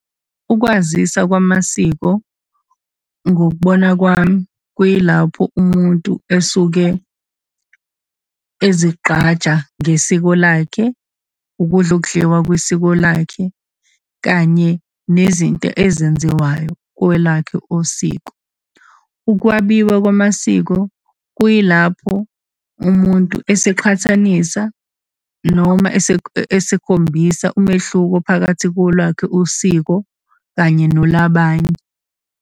Ukwazisa kwamasiko ngokubona kwami, kuyilapho umuntu esuke ezigqaja ngesiko lakhe, ukudla okudliwa kwisiko lakhe, kanye nezinto ezenziwayo kwelakhe usiko. Ukwabiwa kwamasiko kuyilapho umuntu eseqhathanisa, noma esekhombisa umehluko phakathi kolwakhe usiko kanye nolabanye.